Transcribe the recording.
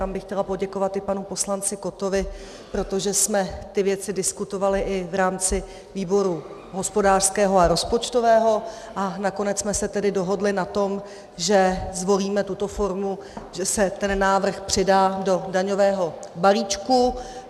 Tam bych chtěla poděkovat i panu poslanci Kottovi, protože jsme ty věci diskutovali i v rámci výboru hospodářského a rozpočtového, a nakonec jsme se tedy dohodli na tom, že zvolíme tuto formu, že se ten návrh přidá do daňového balíčku.